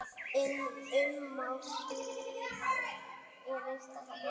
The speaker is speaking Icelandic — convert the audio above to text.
Ummál hrings er reiknað þannig